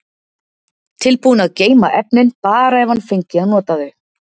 Tilbúinn að geyma efnin, bara ef hann fengi að nota þau.